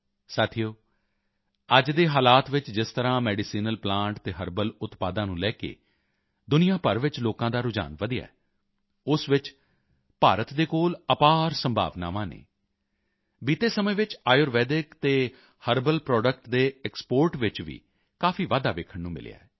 ਸਾਥੀਓ ਅੱਜ ਦੇ ਹਾਲਾਤ ਵਿੱਚ ਜਿਸ ਤਰ੍ਹਾਂ ਮੈਡੀਸੀਨਲ ਪਲਾਂਟ ਅਤੇ ਹਰਬਲ ਉਤਪਾਦਾਂ ਨੂੰ ਲੈ ਕੇ ਦੁਨੀਆਂ ਭਰ ਵਿੱਚ ਲੋਕਾਂ ਦਾ ਰੁਝਾਨ ਵਧਿਆ ਹੈ ਉਸ ਵਿੱਚ ਭਾਰਤ ਦੇ ਕੋਲ ਅਪਾਰ ਸੰਭਾਵਨਾਵਾਂ ਹਨ ਬੀਤੇ ਸਮੇਂ ਵਿੱਚ ਆਯੁਰਵੈਦਿਕ ਅਤੇ ਹਰਬਲ ਪ੍ਰੋਡਕਟ ਦੇ ਐਕਸਪੋਰਟ ਵਿੱਚ ਵੀ ਕਾਫੀ ਵਾਧਾ ਵੇਖਣ ਨੂੰ ਮਿਲਿਆ ਹੈ